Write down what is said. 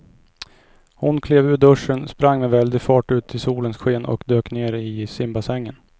Hon klev ur duschen, sprang med väldig fart ut i solens sken och dök ner i simbassängen.